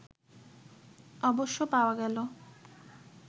অবশ্য পাওয়া গেল